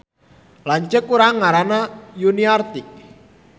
Lanceuk urang ngaranna Yuniarti